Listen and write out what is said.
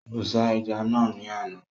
Kò ṣá ẹja naa ni àná